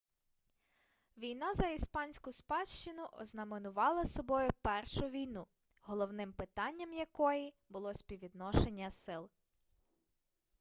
війна за іспанську спадщину ознаменувала собою першу війну головним питанням якої було співвідношення сил